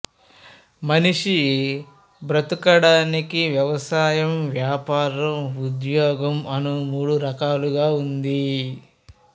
మనిషి బ్రతుకడానికి వ్యవసాయం వ్యాపారం ఉద్యోగం అను మూడు రకాలుగా ఉంది